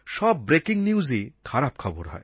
সব ব্রেকিং নিউজই খারাপ খবর হয়